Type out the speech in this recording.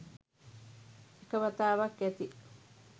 එක වතාවක් ඇති